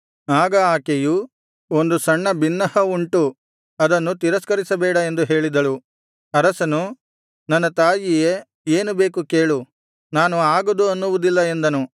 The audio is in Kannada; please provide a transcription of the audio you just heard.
ಆಗ ಆಕೆಯು ಒಂದು ಸಣ್ಣ ಬಿನ್ನಹ ಉಂಟು ಅದನ್ನು ತಿರಸ್ಕರಿಸಬೇಡ ಎಂದು ಹೇಳಿದಳು ಅರಸನು ನನ್ನ ತಾಯಿಯೇ ಏನು ಬೇಕು ಕೇಳು ನಾನು ಆಗದು ಅನ್ನುವುದಿಲ್ಲ ಎಂದನು